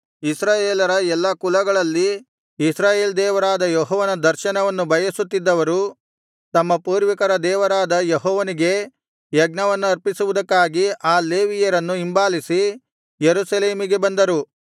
ಇಸ್ರಾಯೇಲರ ಎಲ್ಲಾ ಕುಲಗಳಲ್ಲಿ ಇಸ್ರಾಯೇಲ್ ದೇವರಾದ ಯೆಹೋವನ ದರ್ಶನವನ್ನು ಬಯಸುತ್ತಿದ್ದವರು ತಮ್ಮ ಪೂರ್ವಿಕರ ದೇವರಾದ ಯೆಹೋವನಿಗೆ ಯಜ್ಞವನ್ನರ್ಪಿಸುವುದಕ್ಕಾಗಿ ಆ ಲೇವಿಯರನ್ನು ಹಿಂಬಾಲಿಸಿ ಯೆರೂಸಲೇಮಿಗೆ ಬಂದರು